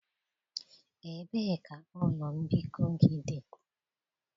Ebee ka ụlọ mbikọ gị dị?